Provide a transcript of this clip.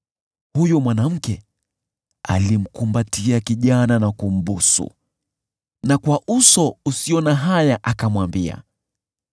Huyo mwanamke alimkumbatia kijana na kumbusu, na kwa uso usio na haya akamwambia: